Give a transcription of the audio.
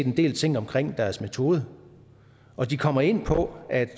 en del ting omkring deres metode og de kommer ind på at